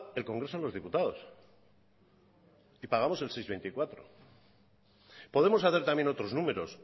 el congreso de los diputados y pagamos el seis coma veinticuatro podemos hacer también otros números